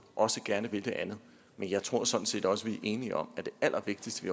også gerne vil det andet men jeg tror sådan set også vi er enige om at det allervigtigste vi